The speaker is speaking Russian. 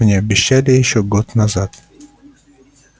мне обещали его ещё год назад